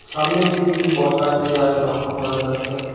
সামনের দিকে কিছু বসার চেয়ার লক্ষ্য করা যাচ্ছে।